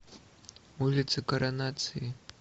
улица коронации